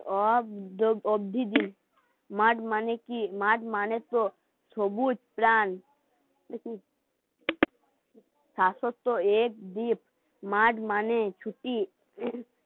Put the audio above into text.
math মানে টো সবুজ প্রান মাথ মানে ছুটি